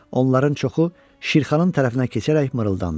Onların çoxu Şirxanın tərəfinə keçərək mırıldandı.